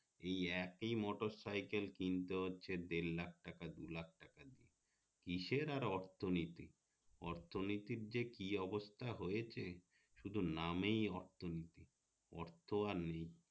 এই একই মোটরসাইকেল কিনতে হচ্ছে দেড়লাখ টাকা দু লাখ টাকা দিয়ে কিসের আর অর্থনীতি অর্থনীতির যে কি অবস্থা হয়েছে শুধুই নামেই অর্থনীতি অর্থ আর নেই